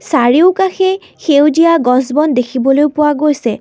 চাৰিওকাষে সেউজীয়া গছ বন দেখিবলৈ পোৱা গৈছে।